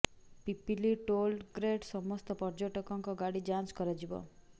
Pipili toll ଗେଟ୍ରେ ସମସ୍ତ ପର୍ଯ୍ୟଟକଙ୍କ ଗାଡ଼ି ଯାଞ୍ଚ କରାଯିବ